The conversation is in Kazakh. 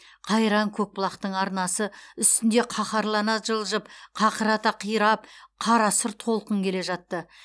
қайран көкбұлақтың арнасы үстінде қаһарлана жылжып қақырата қиратып қарасұр толқын келе жатты